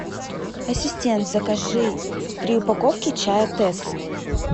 ассистент закажи три упаковки чая тесс